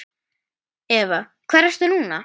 Eva: Hvar ertu núna?